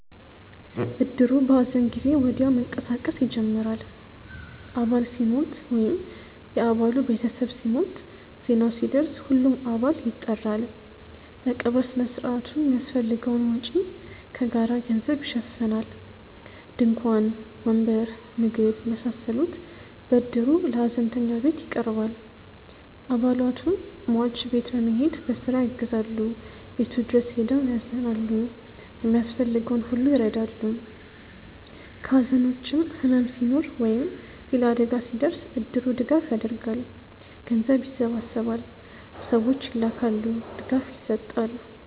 እድሩ በሐዘን ጊዜ ወዲያው መንቀሳቀስ ይጀምራል። አባል ሲሞት ወይም የ አባሉ ቤተሰብ ሲሞት፣ ዜናው ሲደርስ ሁሉም አባል ይጠራል። ለቀብር ሥነ ሥርዓቱ የሚያስፈልገውን ወጪ ከጋራ ገንዘብ ይሸፈናል። ድንኳን፣ ወንበር፣ ምግብ የመሳሰሉት በእድሩ ለሀዘንተኛው ቤት ይቀርባል። አባላቱ ሟች ቤት በመሄድ በስራ ያግዛሉ፣ ቤቱ ድረስ ሄደው ያዝናሉ፣ የሚያስፈልገውን ሁሉ ይረዳሉ። ከሐዘን ውጭም ሕመም ሲኖር ወይም ሌላ አደጋ ሲደርስ እድሩ ድጋፍ ያደርጋል። ገንዘብ ይሰበሰባል፣ ሰዎች ይላካሉ፣ ድጋፍ ይሰጣል።